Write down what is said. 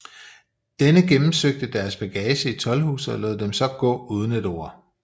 Denne gennemsøgte deres bagage i toldhuset og lod dem så gå uden et ord